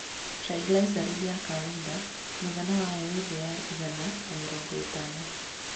Triglyceride ya kawaida mũigana wayo wĩ thĩ ya igana na mĩrongo ĩtano.